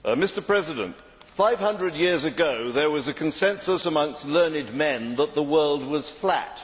Mr President, 500 years ago there was a consensus amongst learned men that the world was flat.